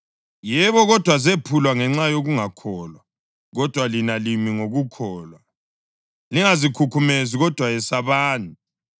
Yebo. Kodwa zephulwa ngenxa yokungakholwa, kodwa lina limi ngokukholwa. Lingazikhukhumezi, kodwa yesabani.